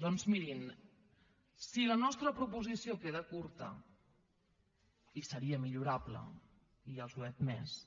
doncs mirin si la nostra proposició queda curta i seria millorable ja els ho he admès